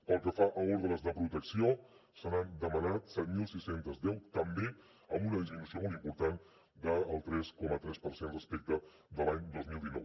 pel que fa a ordres de protecció se n’han demanat set mil sis cents i deu també amb una disminució molt important del tres coma tres per cent respecte de l’any dos mil dinou